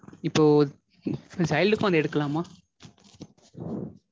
இப்போ child க்கும் அது எடுக்கலாமா?